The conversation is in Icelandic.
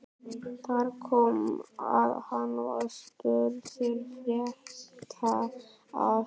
Þar kom að hann var spurður frétta af